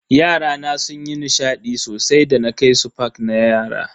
Yarana sunyi nishadi sosai da na kai su park na yara.